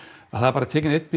það er bara tekinn einhver